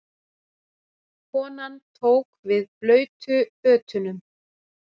Konan tók við blautu fötunum.